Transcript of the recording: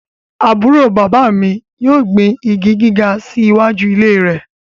Aburo baba mi yoo gbin igi giga si iwaju ile rẹ